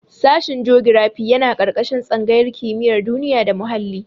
Sashen jogirafi yana ƙarƙashin tsangayar kimiyar duniya da muhalli.